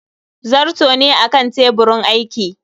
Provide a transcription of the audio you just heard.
zarto ne a Kan teburin aiki